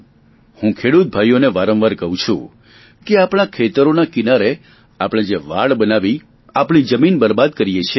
હું ખેડૂત ભાઈઓને વારંવાર કહું છુ કે આપણા ખેતરોના કિનારે આપણે જે વાડ બનાવી આપણી જમીન બરબાદ કરીએ છીએ